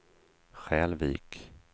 Skälvik